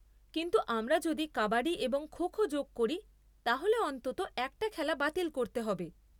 কিন্তু আমরা যদি কাবাডি এবং খো খো যোগ করি, তাহলে অন্তত একটা খেলা বাতিল করতে হবে।